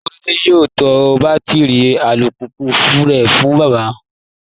Korede yóò ta bátíri alùpùpù rẹ̀ fún bàbá